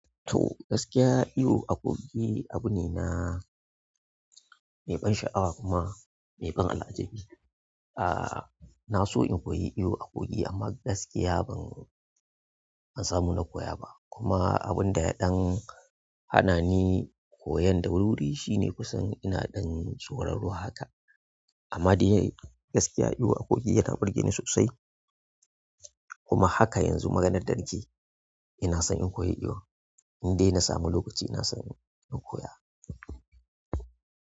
To, gaskiya iyo a kogi abu ne na mai ban sha'awa kuma mai ban al'ajabi. Aaa, na so in koyi iyo a kogi amma gaskiya ban, ban samu na koya ba. Kuma abun da ya ɗan hana ni koyan da wuri-wuri shine kusan ina ɗan tsoron ruwa haka. Amma dai gaskiya iyo a kogi yana burge ni sosai. Kuma haka yanzu maganar danake, ina son in koyi iyo. In dai na samu lokaci ina son in koya.